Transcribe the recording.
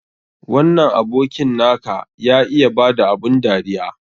Wannan abokin na ka ya iya ba da abun dariya.